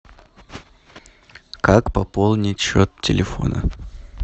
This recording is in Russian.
как пополнить счет телефона